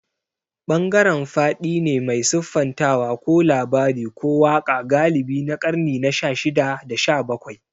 Bangaren faɗi ne mai siffantawa ko labari ko waƙa galibi na ƙarni na shashida da shabakwai.